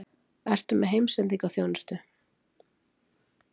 Ertu með heimsendingarþjónustu?